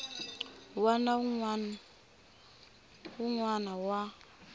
wana na wun wana wa